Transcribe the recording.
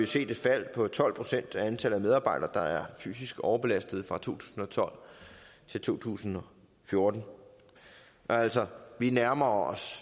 set et fald på tolv procent af antallet af medarbejdere der er fysisk overbelastede fra to tusind og tolv til to tusind og fjorten altså vi nærmer os